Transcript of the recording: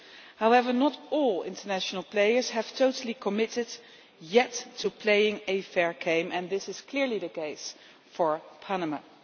However, not all international players have totally committed yet to playing a fair game, and this is clearly the case for Panama.